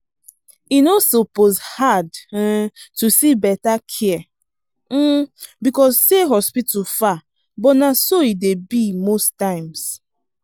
e no suppose hard um to see better care um because say hospital far but na so e dey be most times